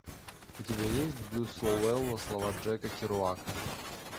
у тебя есть блюз лоуэлла слова джека керуака